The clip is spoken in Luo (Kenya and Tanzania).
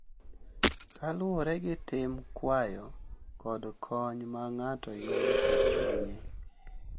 Kaluwore gi tim, kwayo, kod kony ma ng’ato yudo e chunye.